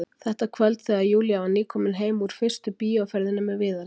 Þetta kvöld þegar Júlía var nýkomin heim úr fyrstu bíóferðinni með Viðari.